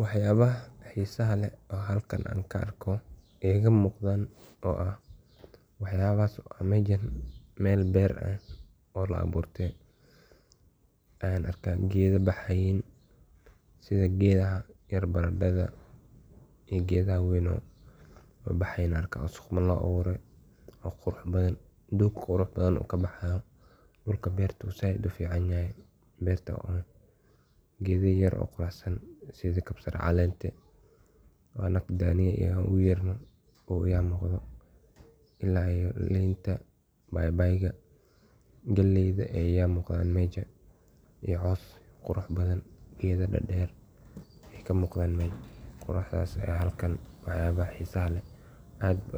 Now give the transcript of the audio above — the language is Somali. Wax yabaha xiisaha leeh Halkan kuarko ee iga muqdhan oo aah meshan beer aah oo laaburte Ayan arka gedho baxayan sidha gedhaha baradadha Oo gedha kale weyn ayan arkaa sii qurux badhan ubaxayan doog qurux badhan kabaxayan dhulka beerta zaid ufican yahay iyo gedho yar sidha kabsar caleenta oo anaga daniyo ogu yerno Aya iga muqdho iyo liinta baybayga galeydha iyo yambadha iyo Mel qurux badhan gedho dader badhan ee kamudhan meshan ee halkan aad